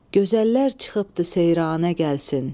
Gözəllər çıxıbdır seyrana, gəlsin.